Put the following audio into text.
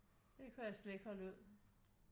Det kunne jeg slet ikke holde ud